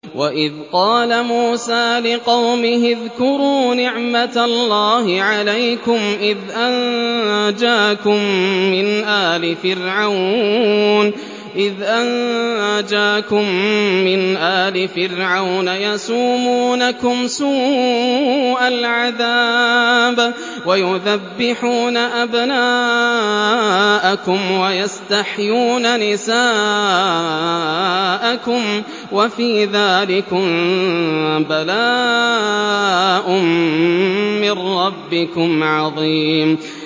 وَإِذْ قَالَ مُوسَىٰ لِقَوْمِهِ اذْكُرُوا نِعْمَةَ اللَّهِ عَلَيْكُمْ إِذْ أَنجَاكُم مِّنْ آلِ فِرْعَوْنَ يَسُومُونَكُمْ سُوءَ الْعَذَابِ وَيُذَبِّحُونَ أَبْنَاءَكُمْ وَيَسْتَحْيُونَ نِسَاءَكُمْ ۚ وَفِي ذَٰلِكُم بَلَاءٌ مِّن رَّبِّكُمْ عَظِيمٌ